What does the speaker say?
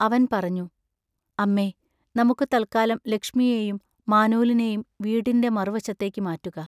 അവൻ പറഞ്ഞു: അമ്മേ, നമുക്ക് തൽക്കാലം ലക്ഷ്മിയേ യും മാനൂലിയേയും വീട്ടിൻ്റെ മറുവശത്തേക്ക് മാറ്റുക.